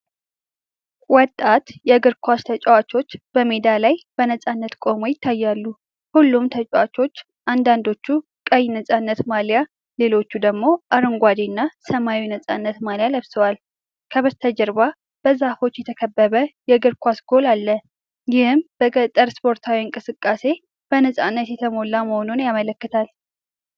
ወጣት የእግር ኳስ ተጫዋቾች በሜዳ ላይ በነፃነት ቆመው ይታያሉ::ሁሉም ተጫዋቾች አንዳንዶቹ ቀይ ነፃነት ማልያ፣ ሌሎች ደግሞ አረንጓዴ እና ሰማያዊ ነፃነት ማልያ ለብሰዋል። ከበስተጀርባ በዛፎች የተከበበ የእግር ኳስ ጎል አለ፣ ይህም በገጠር ስፖርታዊ እንቅስቃሴዎች በነፃነት የተሞላ መሆኑን ያመላክታል።